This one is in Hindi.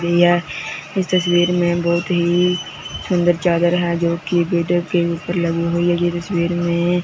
ये इस तस्वीर में बहुत ही सुंदर चादर है जो कि के ऊपर लगी हुई है यह तस्वीर में।